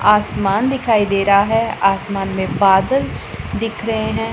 आसमान दिखाई दे रहा है आसमान में बदल दिख रहे हैं।